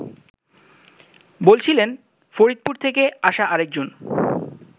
বলছিলেন ফরিদপুর থেকে আসা আরেকজন